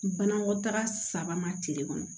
Banakɔtaga saba ma tile kɔnɔ